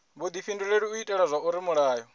vhudifhinduleli u itela zwauri mulayo